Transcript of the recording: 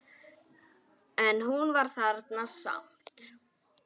En hún er þarna samt.